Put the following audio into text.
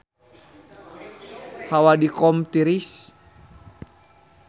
Hawa di Qom tiris